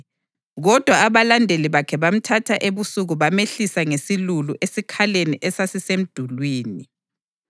Kodwa abalandeli bakhe bamthatha ebusuku bamehlisa ngesilulu esikhaleni esasisemdulini.